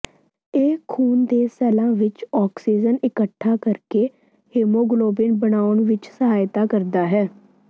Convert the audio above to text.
ਇਹ ਖੂਨ ਦੇ ਸੈੱਲਾਂ ਵਿੱਚ ਆਕਸੀਜਨ ਇਕੱਠਾ ਕਰਕੇ ਹੀਮੋਗਲੋਬਿਨ ਬਣਾਉਣ ਵਿੱਚ ਸਹਾਇਤਾ ਕਰਦਾ ਹੈ